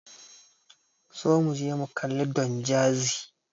Zo muje mu kalli Don Jazzy.